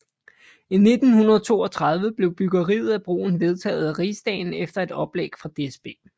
I 1932 blev byggeriet af broen vedtaget af Rigsdagen efter et oplæg fra DSB